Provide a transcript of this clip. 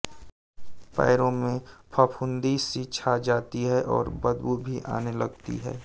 पैरों में फफून्दी सी छा जाती है और बदबू भी आने लगती है